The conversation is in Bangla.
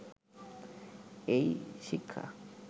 এই শিক্ষা